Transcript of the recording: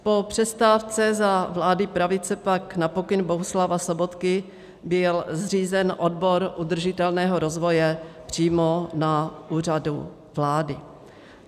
Po přestávce za vlády pravice pak na pokyn Bohuslava Sobotky byl zřízen odbor udržitelného rozvoje přímo na Úřadu vlády.